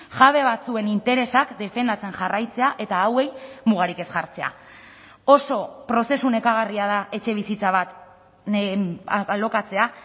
jabe batzuen interesak defendatzen jarraitzea eta hauei mugarik ez jartzea oso prozesu nekagarria da etxebizitza bat alokatzea